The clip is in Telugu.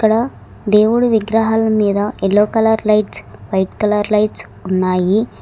ఇక్కడ దేవుడు విగ్రహాల మీద yellow colour lights white colour lights ఉన్నాయి.